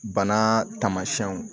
Bana tamasiyɛnw